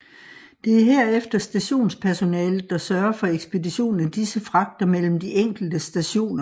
Det er herefter stationspersonalet der sørger for ekspedition af disse fragter mellem de enkelte stationer